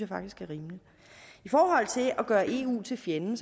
faktisk er rimeligt i forhold til at gøre eu til fjenden